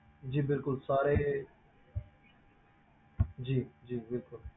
ਜੀ ਬਿਲਕੁਲ ਸਾਰੇ ਜੀ ਜੀ ਬਿਲਕੁਲ